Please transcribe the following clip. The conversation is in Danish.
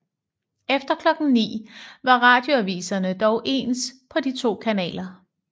Efter klokken 9 var radioaviserne dog ens på de to kanaler